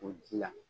O ji la